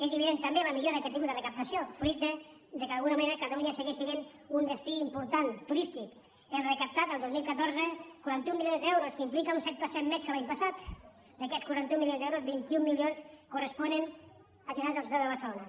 és evident també la millora que ha tingut la recaptació fruit del fet que d’alguna manera catalunya segueix sent un destí important turístic hem recaptat el dos mil catorze quaranta un milions d’euros que implica un set per cent més que l’any passat i d’aquests quaranta un milions d’euros vint un milions corresponen als generats a la ciutat de barcelona